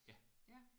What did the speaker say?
Ja